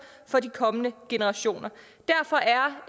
for de kommende generationer derfor